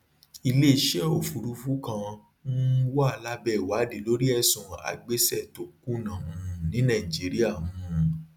ilé iṣẹ òfurufú kan um wà lábẹ ìwádìí lórí ẹsùn àgbéṣe tó kùnà um ní nàìjíríà um